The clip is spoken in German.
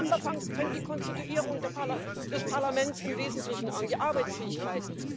Im September fängt die Konstituierung des Parlaments im Wesentlichen an, die Arbeitsfähigkeit.